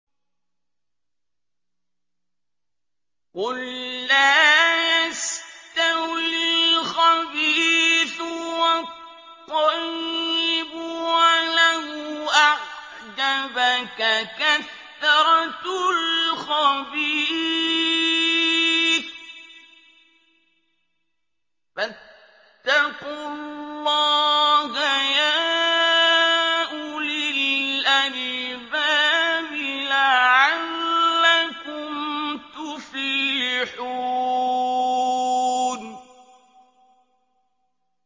قُل لَّا يَسْتَوِي الْخَبِيثُ وَالطَّيِّبُ وَلَوْ أَعْجَبَكَ كَثْرَةُ الْخَبِيثِ ۚ فَاتَّقُوا اللَّهَ يَا أُولِي الْأَلْبَابِ لَعَلَّكُمْ تُفْلِحُونَ